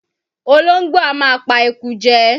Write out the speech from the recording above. Olóńgbò á máa pa eku jẹ.